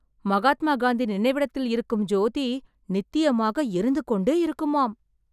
மகாத்மா காந்தி நினைவிடத்தில் இருக்கும் ஜோதி, நித்தியமாக எரிந்துகொண்டே இருக்குமாம்...